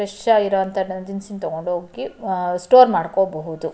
Fresh ಆಗಿರುವಂತಹ ದಿನಸಿ ನ ತಕೊಂಡ್ ಹೋಗಿ ಸ್ಟೋರ್ ಮಾಡ್ಕೋಬಹುದು.